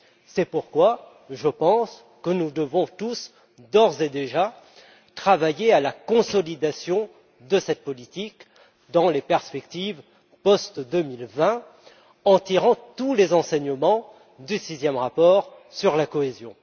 C'est pourquoi je pense que nous devons tous d'ores et déjà travailler à la consolidation de cette politique dans la perspective post 2020 en tirant tous les enseignements du sixième rapport sur la cohésion.